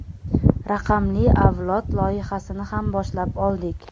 Raqamli avlod loyihasini ham boshlab oldik.